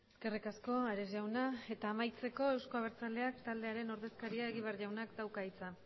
eskerrik asko ares jauna eta amaitzeko euzko abertzaleak taldearen ordezkaria egibar jaunak dauka hitza